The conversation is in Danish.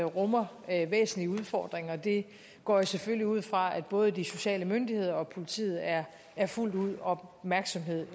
rummer væsentlige udfordringer det går jeg selvfølgelig ud fra at både de sociale myndigheder og politiet er er fuldt ud opmærksomme